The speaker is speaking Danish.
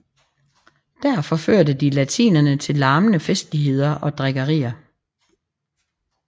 Der forførte de latinerne til larmende festligheder og drikkeri